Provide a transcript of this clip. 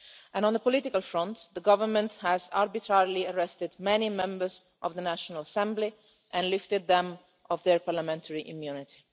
And on the political front, the government has arbitrarily arrested many members of the National Assembly and lifted their parliamentary immunity.